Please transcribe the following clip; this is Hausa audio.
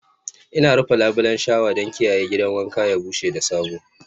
Ina rufe labulen shawa don kiyaye gidan wanka ya bushe da sabo